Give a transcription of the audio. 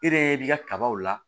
E yɛrɛ b'i ka kabaw la